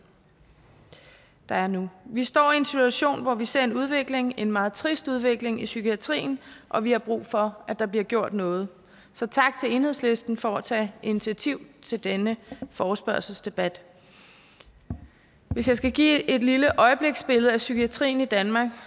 der er nu vi står i en situation hvor vi ser en udvikling en meget trist udvikling i psykiatrien og vi har brug for at der bliver gjort noget så tak til enhedslisten for at tage initiativ til denne forespørgselsdebat hvis jeg skal give et lille øjebliksbillede af psykiatrien i danmark